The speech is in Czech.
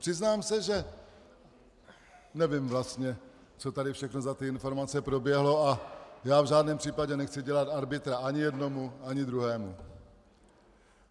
Přiznám se, že - nevím vlastně, co tady všechno za ty informace proběhlo, a já v žádném případě nechci dělat arbitra ani jednomu ani druhému.